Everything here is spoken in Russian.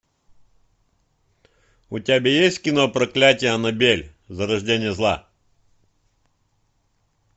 у тебя есть кино проклятие аннабель зарождение зла